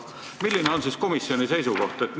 Milline on komisjoni seisukoht?